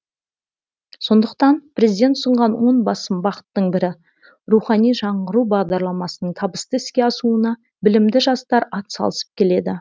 сондықтан президент ұсынған он басым бағыттың бірі рухани жаңғыру бағдарламасының табысты іске асуына білімді жастар ат салысып келеді